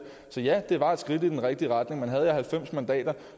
så ja det var et skridt i den rigtige retning men havde jeg halvfems mandater